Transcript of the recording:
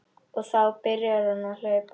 Og þá byrjar hún að hlaupa.